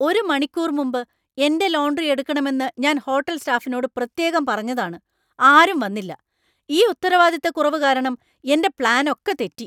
ഒരു മണിക്കൂർ മുമ്പ് എന്‍റെ ലോണ്‍ഡ്റി എടുക്കണമെന്ന് ഞാൻ ഹോട്ടൽ സ്റ്റാഫിനോട് പ്രത്യേകം പറഞ്ഞതാണ്, ആരും വന്നില്ല. ഈ ഉത്തരവാദിത്തക്കുറവ് കാരണം എന്‍റെ പ്ലാനൊക്കെ തെറ്റി.